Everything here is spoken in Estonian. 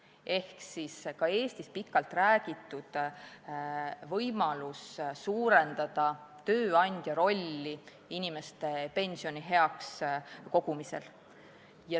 See on see ka Eestis pikalt räägitud võimalus suurendada tööandja rolli inimestele pensioni kogumisel.